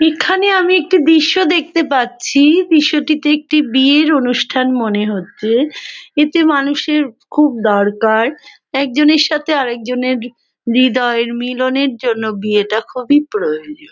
এখানে আমি একটি দৃশ্য দেখতে পাচ্ছি। দৃশ্য টিতে একটি বিয়ের অনুষ্ঠান মনে হচ্ছে । এতে মানুষের খুব দরকার। এক জনের সাথে আর এক জনের হৃদয়ের মিলনের জন্য বিয়েটা খুবই প্রয়োজন ।